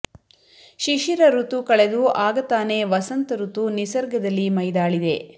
ಶಿಶಿರ ಋತು ಕಳೆದು ಆಗ ತಾನೇ ವಸಂತ ಋತು ನಿಸರ್ಗದಲ್ಲಿ ಮೈದಾಳಿದೆ